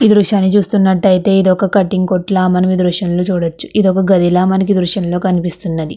ఈ దృశ్యంని చూస్తున్నట్టు అయితే ఇదొక కటింగ్ కొట్టుల మనకి ఈ దృశ్యం లో చూడవచ్చు ఇదొక గదిలా మనకి ఈ దృశ్యంలో కనిపిస్తుంది.